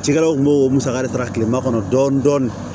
Cikɛlaw kun b'o musaka de ta kilema kɔnɔ dɔɔnin dɔɔnin